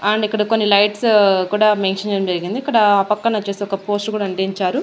And ఇక్కడ కొన్ని lights కూడా మెన్షన్ చేయడం జరిగింది ఇక్కడ పక్కన ఒచ్చేసి ఒక పోస్ట్ కూడా అంటించారు.